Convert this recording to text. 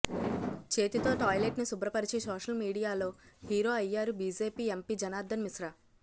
చేతితో టాయిలెట్ను శుభ్రపరిచి సోషల్ మీడియాలో హీరో అయ్యారు బీజేపీ ఎంపీ జనార్ధన్ మిశ్రా